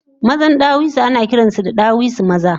Mazan ɗawisu anakiransu da ɗawisu maza